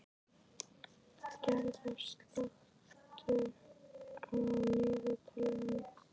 Gerða, slökktu á niðurteljaranum.